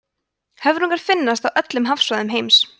höfrungar finnast á öllum hafsvæðum heims